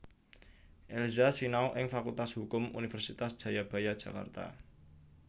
Elza sinau ing Fakultas Hukum Universitas Jayabaya Jakarta